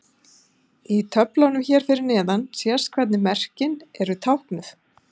Í töflunum hér fyrir neðan sést hvernig merkin eru táknuð.